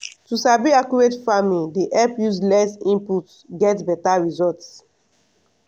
to sabi accurate farming dey help use less input get beta result.